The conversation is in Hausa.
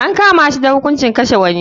An kama shi da hukuncin kashe wani.